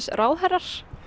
ráðherrar